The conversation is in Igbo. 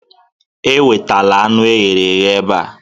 Ewetala anụ e ghere eghe ebe a